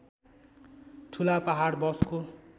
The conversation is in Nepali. ठुला पहाड बसको